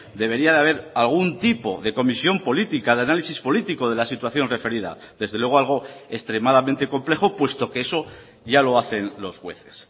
debería de haber algún tipo de comisión política de análisis político de la situación referida desde luego algo extremadamente complejo puesto que eso ya lo hacen los jueces